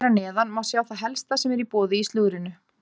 Hér að neðan má sjá það helsta sem er í boði í slúðrinu.